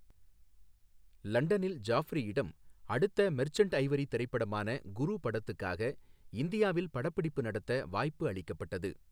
லண்டனில் ஜாஃப்ரியிடம், அடுத்த மெர்ச்சன்ட் ஐவரி திரைப்படமான குரு படத்துக்காக இந்தியாவில் படப்பிடிப்பு நடத்த வாய்ப்பு அளிக்கப்பட்டது.